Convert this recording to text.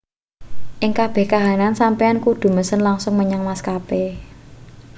ing kabeh kahanan sampeyan kudu mesen langsung menyang maskape